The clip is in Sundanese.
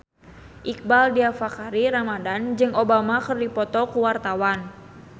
Iqbaal Dhiafakhri Ramadhan jeung Obama keur dipoto ku wartawan